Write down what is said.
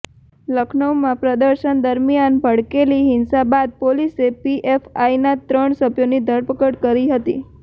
લખનૌમાં પ્રદર્શન દરમિયાન ભડકેલી હિંસા બાદ પોલીસે પીએફઆઇના ત્રણ સભ્યોની ધરપકડ કરી હતી